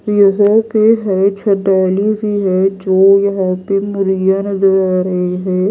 के हैं भी है जो यहां पे मुर्गियां नजर आ रही है।